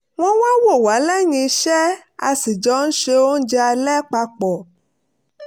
wọ́n wá wò wá lẹ́yìn iṣẹ́ a sì jọ ń se oúnjẹ alẹ́ papọ̀